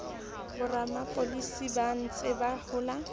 boramapolasi ba ntseng ba hola